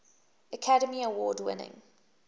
academy award winning